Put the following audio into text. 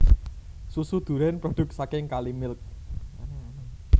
Susu duren produk saking Kalimilk